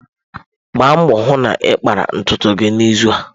Gbaa mbọ hụ na ị kpara ntutu gị n'izu a.